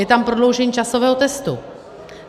Je tam prodloužení časového testu.